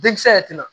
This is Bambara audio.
Denkisɛ yɛrɛ tɛna